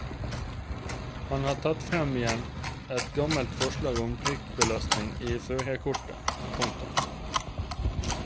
Han har tatt frem igjen et gammelt forslag om prikkbelastning i førerkortet. punktum